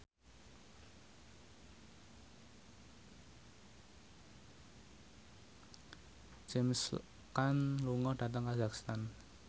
James Caan lunga dhateng kazakhstan